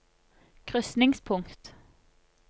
krysningspunkt